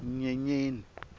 nyenyeni